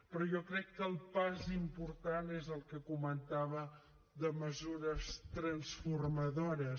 però jo crec que el pas important és el que comentava de mesures transformadores